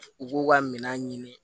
U b'u ka minɛn ɲini